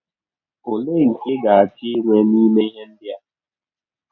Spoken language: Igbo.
Ọlee nke ị ga - achọ inwe n’ime ihe ndị a?